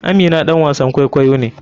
Amina ɗan wasan kwaikwayo ne.